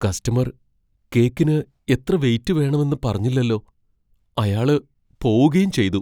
Customer കേക്കിന് എത്ര weight വേണമെന്ന് പറഞ്ഞില്ലല്ലോ. അയാള് പോവുകേം ചെയ്തു.